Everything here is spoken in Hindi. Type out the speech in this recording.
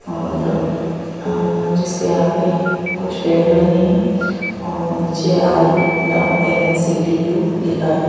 और जिसके आगे कुछ पेड़ लगे हैं और नीचे I love N _N_ C_ T_ U लिखा है।